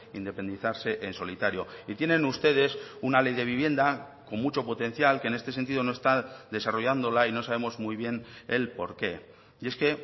independizarse en solitario y tienen ustedes una ley de vivienda con mucho potencial que en este sentido no está desarrollándola y no sabemos muy bien el porqué y es que